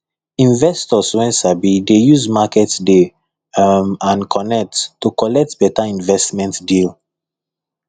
investors wey sabi dey use market day um and connect to collect better investment deal